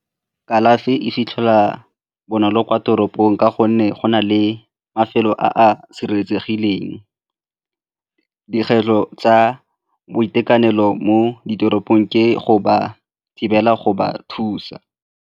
Kalafi e fitlhelwa bonolo kwa toropong ka gonne go na le mafelo a a sireletsegileng. Dikgwetlho tsa boitekanelo mo ditoropong ke go ba thibela go ba thusa.